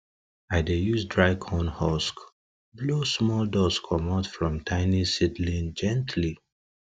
i dey use dry corn husk blow small dust comot from tiny seedling gently